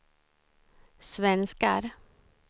svenskar